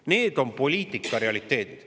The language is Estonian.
See on poliitika realiteet.